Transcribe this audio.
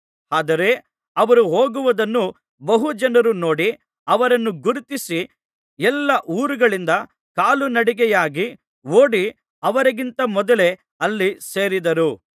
ಆದರೆ ಅವರು ಹೋಗುವುದನ್ನು ಬಹು ಜನರು ನೋಡಿ ಅವರನ್ನು ಗುರುತಿಸಿ ಎಲ್ಲಾ ಊರುಗಳಿಂದ ಕಾಲುನಡಿಗೆಯಾಗಿ ಓಡಿ ಅವರಿಗಿಂತ ಮೊದಲೇ ಅಲ್ಲಿ ಸೇರಿದರು